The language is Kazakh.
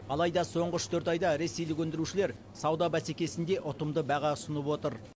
алайда соңғы үш төрт айда ресейлік өндірушілер сауда бәсекесінде ұтымды баға ұсынып отыр